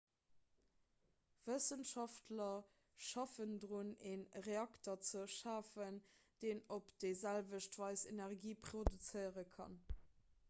wëssenschaftler schaffen drun e reakter ze schafen deen op déi selwecht weis energie produzéiere kann